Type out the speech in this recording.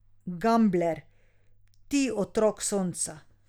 Gambler, ti otrok sonca.